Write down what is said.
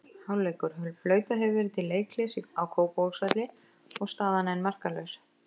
Hálfleikur: Flautað hefur verið til leikhlés á Kópavogsvelli og staðan enn markalaus.